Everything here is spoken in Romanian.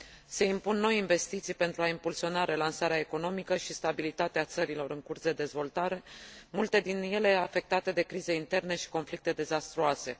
Se impun noi investiții pentru a impulsiona relansarea economică și stabilitatea țărilor în curs de dezvoltare, multe din ele afectate de crize interne și conflicte dezastruoase.